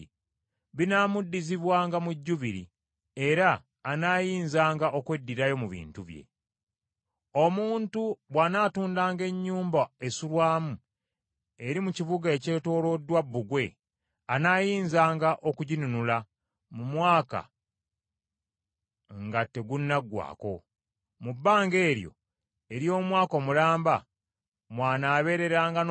“Omuntu bw’anaatundanga ennyumba esulwamu eri mu kibuga ekyetooloddwa bbugwe, anaayinzanga okuginunula mu mwaka nga tegunaggwaako. Mu bbanga eryo ery’omwaka omulamba mw’anaabeereranga n’obuyinza obw’okuginunula.